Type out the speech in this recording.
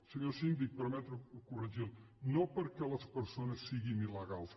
senyor síndic permeti’m corregir lo no perquè les persones siguin il·legals